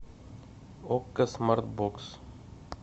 окко смарт бокс